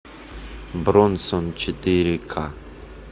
бронсон четыре ка